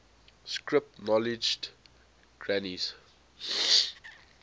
script acknowledged granny's